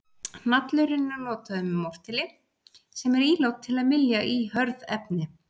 Hnallurinn er notaður með mortéli sem er ílát til að mylja í hörð efni.